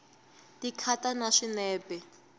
ti khata na swinepe